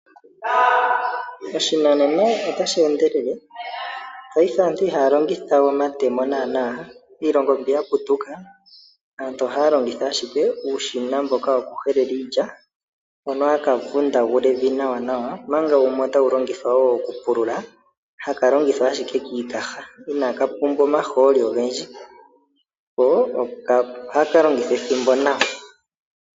Oshinanena otashi endelele, paife aantu iha ya longithawe omatemo naanaa. Iilongo mbi ya putuka aantu ohaya longitha ashike uushina mboka woku helela iilya hono ha ka vundagula evi nawa nawa, omanga wumwe otawu longithwa wo okupulula haka longithwa ashike kiikaha, iha ka pula omahooli ogendji, ko ohaka longitha ethimbo nawa.